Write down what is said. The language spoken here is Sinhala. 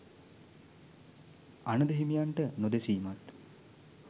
අනඳ හිමියන්ට නොදෙසීමත්